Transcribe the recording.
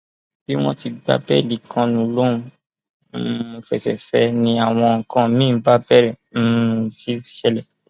bí wọn ti gba béèlì kánú lòún um fẹsẹ fẹ ẹ ni àwọn nǹkan míín bá bẹrẹ um sí ṣẹlẹ